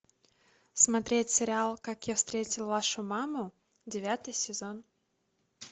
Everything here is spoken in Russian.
смотреть сериал как я встретил вашу маму девятый сезон